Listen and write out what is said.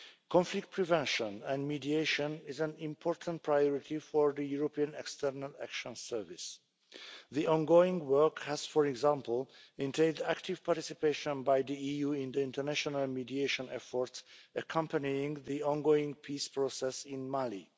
Conflict prevention and mediation is an important priority for the European External Action Service The ongoing work has, for example, entailed active participation by the EU in the international mediation efforts accompanying the ongoing peace process in Mali.